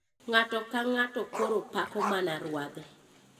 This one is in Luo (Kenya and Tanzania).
Ng'ato ka ng'ato koro pako mana ruadhe.